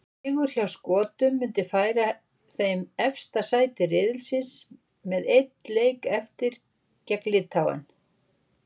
Sigur hjá Skotum myndi færa þeim efsta sæti riðilsins með einn leik eftir, gegn Litháen.